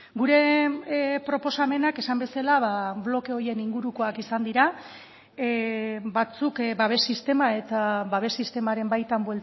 gure proposamenak esan bezala bloke horien ingurukoak izan dira batzuk babes sistema eta babes sistemaren baitan